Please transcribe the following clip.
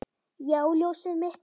Já, ljósið mitt.